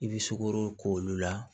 I bɛ sukoro k'olu la